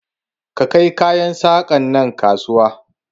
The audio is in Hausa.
Ka kai kayan saƙan nan kasuwa!